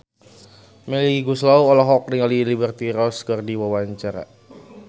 Melly Goeslaw olohok ningali Liberty Ross keur diwawancara